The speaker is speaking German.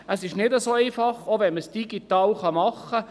Es ist nicht so ein- fach, selbst wenn man es digital machen kann.